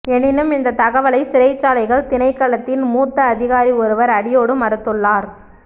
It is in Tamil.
எனினும் இந்தத் தகவலை சிறைச்சாலைகள் திணைக்களத்தின் மூத்த அதிகாரி ஒருவர் அடியோடு மறுத்துள்ளார்